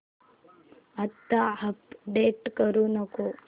आता अपडेट करू नको